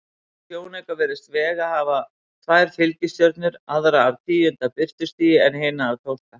Í sjónauka virðist Vega hafa tvær fylgistjörnur, aðra af tíunda birtustigi en hina af tólfta.